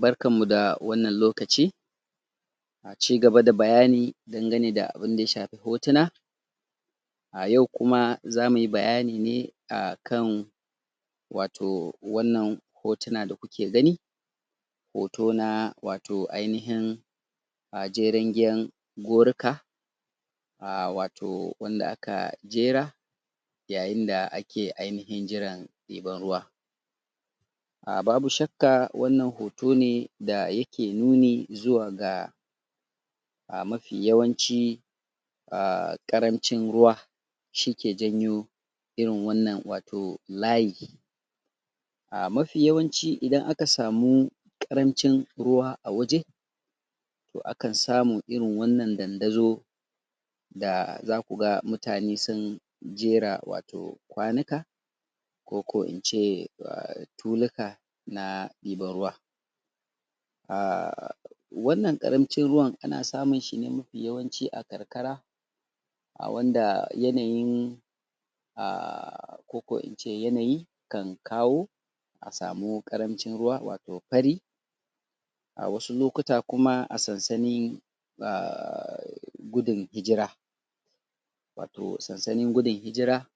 Barkanmu da wannan lokaci cigaba da bayani dangane da abin da ya shafi hotuna a yau kuma zamu yi bayani ne a kan wato wannan hotuna da ku ke gani hoto na wato ainihin a jerengen goruka a wato wanda aka jera yayin da ake wato ainihin jiran ɗiban ruwa. A babu shakka wannan hoto ne da yake nuni zuwa ga a mafi yawanci aa ƙarancin ruwa shi ke janyo irin wannan wato layi aa mafi yawanci idan aka samu ƙarancin ruwa a waje to akan samu irin wannan dandazo da zaku ga mutane sun jera wato kwanuka ko ko in ce aa tulu ka na ɗiban ruwa aa wannan ƙarancin ruwan ana samun shi ne mafi yawanci a karkara a wanda yanayin aa ko ko in ce yanayi kan kawo a samu ƙarancin ruwa wato fari, a wasu lokuta kuma a samu sansanin aa gudun hijira wato sansanin gudun hijira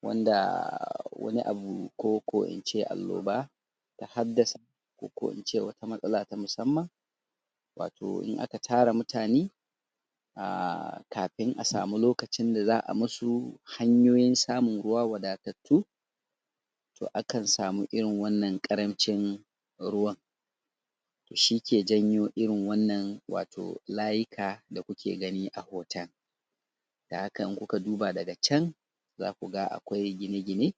wanda wani abu ko ko in ce annoba ta haddasa ko ko in ce wata matsala ta musamman wato in aka tara mutane aa kafin a samu lokacin da za a musu hanyoyin samun ruwa wadatattu to akan samu irin wannan ƙarancin ruwan shi ke janyo irin wannan wato layika da ku ke gani a hoton, don haka in ku ka duba daga can zaku ga akwai gine-gine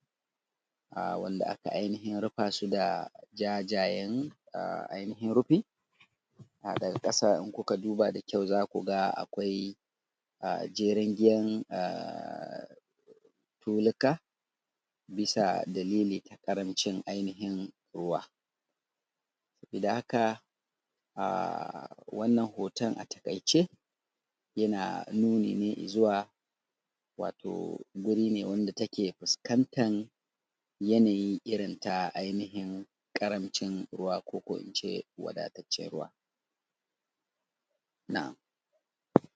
aa wanda aka ainihin rufa su da jajayen aa ainihin rufi aa daga ƙasa in ku ka duba da kyau zaku ga akwai aa jerengen aa tuluka bisa dalili na ƙaranci ainihin ruwa da haka aa wannan hoton a taƙaice yana nuni ne i zuwa wato guri ne wanda yake fuskantan yanayi irin ta ainihin ƙarancin ruwa ko in ce wadataccen ruwa